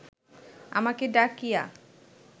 আমাকে ডাকিয়া